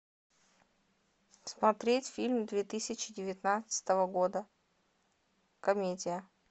смотреть фильм две тысячи девятнадцатого года комедия